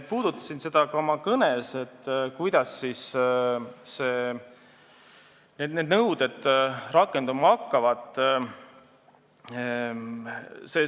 Puudutasin ka oma kõnes seda, kuidas need nõuded rakenduma hakkavad.